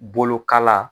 Bolokala